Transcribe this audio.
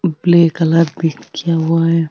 Black colour भी किया हुआ है।